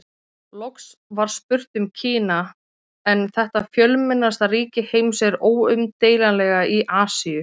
Loks var spurt um Kína en þetta fjölmennasta ríki heims er óumdeilanlega í Asíu.